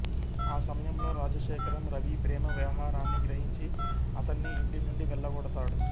ఆ సమయంలో రాజశేఖరం రవి ప్రేమ వ్యవహారాన్ని గ్రహించి అతన్ని ఇంటి నుండి వెళ్ళగొడతాడు